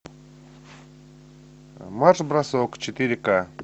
марш бросок четыре к